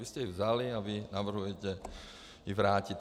Vy jste ji vzali a vy navrhujete ji vrátit.